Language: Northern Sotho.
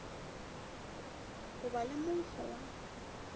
go ba le monkgo wa